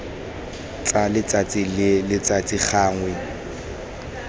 tsa letsatsi le letsatsi gangwe